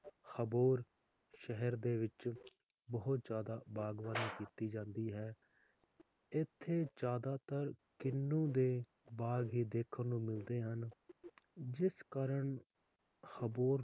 ਅਬੋਹਰ ਸ਼ਹਿਰ ਦੇ ਵਿਚ ਬਹੁਤ ਜ਼ਯਾਦਾ ਬਾਗਵਾਨੀ ਕੀਤੀ ਜਾਂਦੀ ਹੈ ਇਥੇ ਜ਼ਆਦਾਤਰ ਕਿੰਨੂੰ ਦੇ ਬਾਗ ਹੀ ਦੇਖਣ ਨੂੰ ਮਿਲਦੇ ਹਨ ਜਿਸ ਕਾਰਣ ਅਬੋਹਰ,